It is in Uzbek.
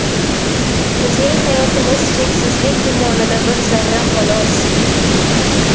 Bizning hayotimiz cheksizlik ummonida bir zarra, xolos.